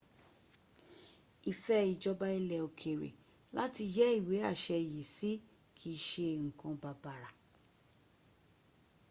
ìfẹ́ ìjọba ilẹ̀ òkèrè láti yẹ́ ìwé àṣẹ yìí sí kìí ṣe nǹkan bàbàr